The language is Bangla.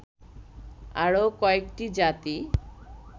আরও কয়েকটি জাতি